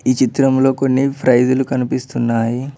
ఈ చిత్రంలో కొన్ని ఫ్రైజులు కనిపిస్తున్నాయి.